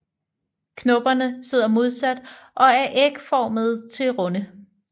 Knopperne sidder modsat og er ægformede til runde